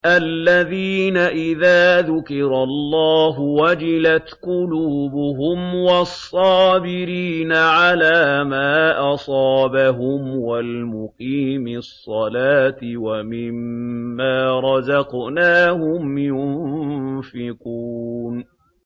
الَّذِينَ إِذَا ذُكِرَ اللَّهُ وَجِلَتْ قُلُوبُهُمْ وَالصَّابِرِينَ عَلَىٰ مَا أَصَابَهُمْ وَالْمُقِيمِي الصَّلَاةِ وَمِمَّا رَزَقْنَاهُمْ يُنفِقُونَ